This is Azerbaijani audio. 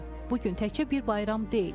Bu gün təkcə bir bayram deyil.